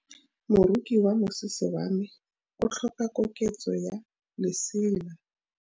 Moroki wa mosese wa me o tlhoka koketsô ya lesela.